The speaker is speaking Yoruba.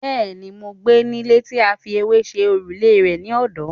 Bẹ́ẹ̀ni, mo gbé nílé tí a fi ewé ṣe òrùlé rẹ̀ ní ọ̀dọ́.